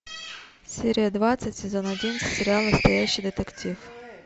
серия двадцать сезон один сериал настоящий детектив